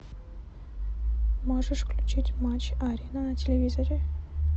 можешь включить матч арена на телевизоре